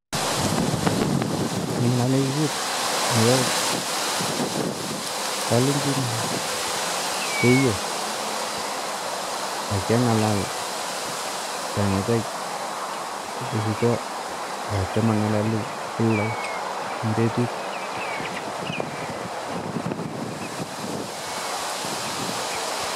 kingalee kut nepa kalenjin ,keiyo, ak kiangalak kongete kesicho ak cham angalali kila in petut